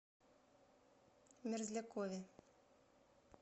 мерзлякове